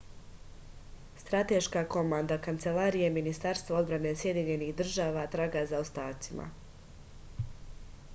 strateška komanda kancelarije ministarstva odbrane sjedinjenih država traga za ostacima